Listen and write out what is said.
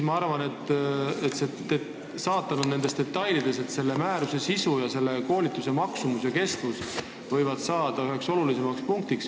Ma arvan, et saatan ongi nendes detailides ning määruse sisu ja koolituse maksumus ja kestus võivad mingil hetkel saada üheks kõige olulisemaks punktiks.